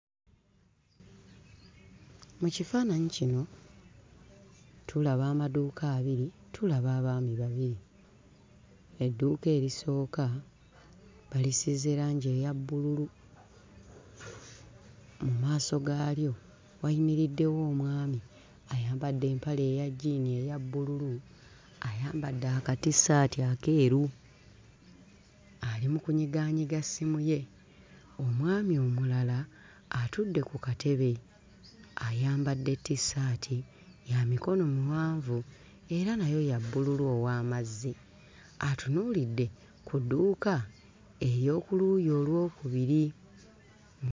Mu kifaananyi kino tulaba amaduuka abiri tulaba abaami babiri edduuka erisooka balisiize langi eya bbululu mu maaso gaalyo wayimiriddewo omwami ayambadde empale eya jjiini eya bbululu ayambadde akatissaati akeeru ali mu kunyigaanyiga ssimu ye omwami omulala atudde ku katebe ayambadde tissaati ya mikono miwanvu era nayo ya bbululu ow'amazzi atunuulidde ku dduuka ery'oku luuyi olwokubiri.